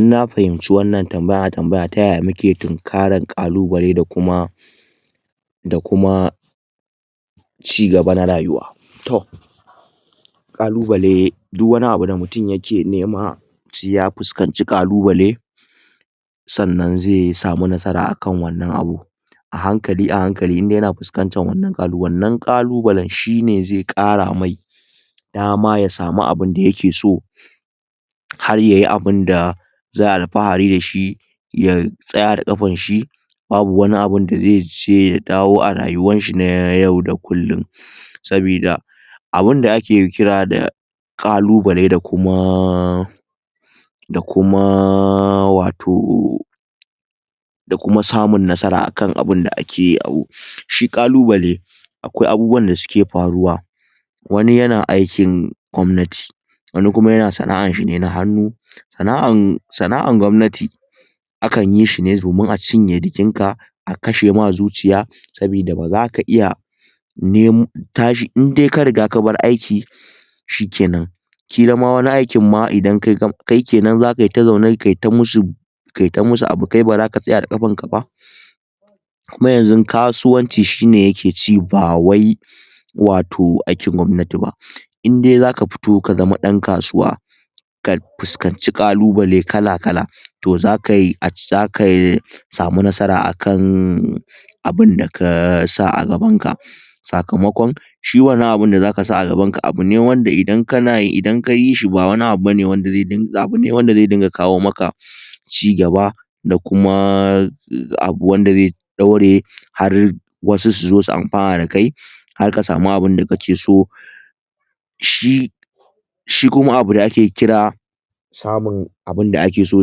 Inna fahimci wannan tambaya taya muke tunkarar kalubalaida kuma da kuma cigaba na rayuwa to kalubalai duk wani abu da mutum yake nema sai ya fuskanci kalubalai sannan zai samu nasara akan wannan abu a hankali a hankali indai yana fuskantar wannan kalubalan shine zai kara mai dama ya samu abinda yake so har yayi abida za'ayi alfahari dashi ya tsaya da kanshi babu wani abunda zai je ya dawo a rayuwar shi na yau da kullin sabida abinda ake kira da kalubalai da kuma da kuma wato da kuma samun nasara akan abinda ake hako shi kalubalai akwai abubuwan da suke faruwa wani yana aikin gwamnati wani kuma yana sana'an shi na hannu sana'an gwamnati akanyi shine domin a cinye jikin ka a kashe ma zuciya sabida bazaka iya nemo indai ka riga ka baro aiki shike nan kila ma wani aikin ma idan kai kai kenan za kai ta zama kai ta masu kaita masu abu kai kenan bazake tsaya da kafanka ba kuma yanzu kasuwanci shine yake ci ba wai wato aikin gwamnati ba indai zaka fito ka zama dan kasuwa ka fuskanci kalubalai kala kala to zakai zaka samu nasara akan abinda kasa a gaban ka sakamakon shi wannan abun da zaka sa a gabanka wanda idan kana idan kayi shi ba wani abu bane wanda zai abune wanda zai dinga kawo maka ci gaba da kuma abu wanda zai daure har wasu su zo su amfana da kai har ka samu abinda kake so shi shi kuma abu da ake kira samun abinda ake so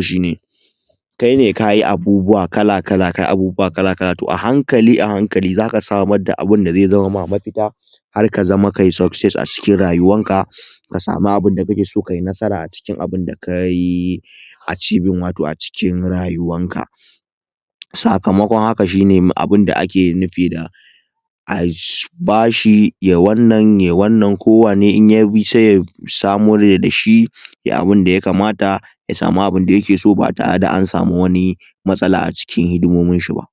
shine kaine kayi abubuwa kala kala kayi abubuwa kala kala to a hankali a hankali zaka samu abinda zai zamar ma mafita har ka zama kayi succes a rayuwar ka ka samu abinda kake so kayi nasara a cikin abinda kayi archeving woto a cikin rayuwan ka sakamakon haka shine abinda ake nufi a bashi ya wannan yayi wannan kowane inyayi sai ya samo daidai dashi yayi abinda ya kamata ya samu abinda yake so ba tare da an samu wani matsala acikin hidimomin shi ba